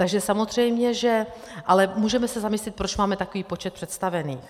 Takže samozřejmě že... ale můžeme se zamyslet, proč máme takový počet představených.